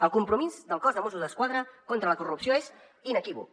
el compromís del cos de mossos d’esquadra contra la corrupció és inequívoc